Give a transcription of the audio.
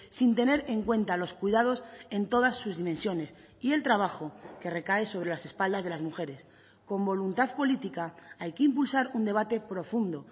sin tener en cuenta los cuidados en todas sus dimensiones y el trabajo que recae sobre las espaldas de las mujeres con voluntad política hay que impulsar un debate profundo